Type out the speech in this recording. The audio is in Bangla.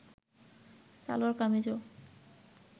সালোয়ার কামিজও